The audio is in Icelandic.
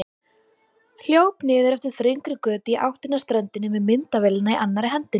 Hljóp niður eftir þröngri götu í áttina að ströndinni með myndavélina í annarri hendinni.